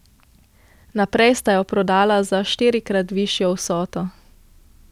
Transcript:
Naprej sta jo prodala za štirikrat višjo vsoto.